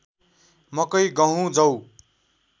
मकै गहुँ जौ